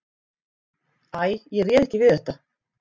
Æ, ég réð ekki við þetta.